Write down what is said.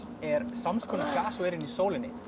er samskonar gas og er inni í sólinni